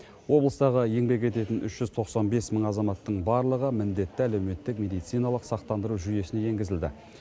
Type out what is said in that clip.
облыстағы еңбек ететін үш жүз тоқсан бес мың азаматтың барлығы міндетті әлеуметтік медициналық сақтандыру жүйесіне енгізілді